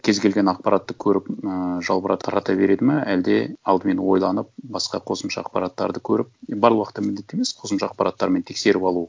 кез келген ақпаратты көріп ііі жалбырап тарата береді ма әлде алдымен ойланып басқа қосымша ақпараттарды көріп бар уақытта міндетті емес қосымша ақпараттармен тексеріп алу